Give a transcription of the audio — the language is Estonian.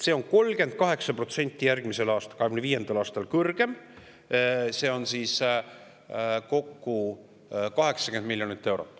Maamaksu laekumine on järgmisel, 2025. aastal 38% kõrgem, see on kokku 80 miljonit eurot.